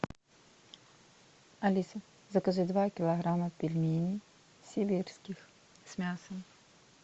алиса закажи два килограмма пельменей сибирских с мясом